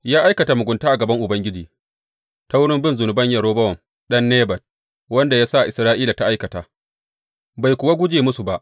Ya aikata mugunta a gaban Ubangiji ta wurin bin zunuban Yerobowam ɗan Nebat, wanda ya sa Isra’ila ta aikata, bai kuwa guje musu ba.